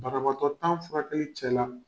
Banabagatɔ tan furakɛli cɛ la